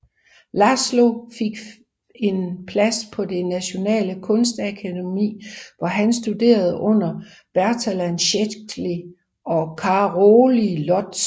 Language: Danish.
László fik fik en plads på det Nationale Kunstakademi hvor han studerede under Bertalan Székely og Károly Lotz